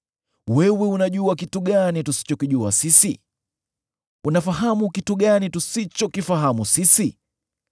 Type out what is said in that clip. Wewe unajua kitu gani tusichokijua sisi? Unafahamu kitu gani tusichokifahamu sisi?